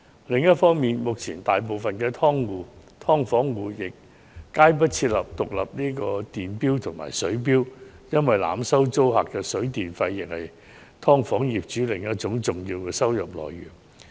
另一方面，目前大部分"劏房"都沒有安裝獨立電錶及水錶，因為濫收租客水電費用是"劏房"業主另一重要收入來源。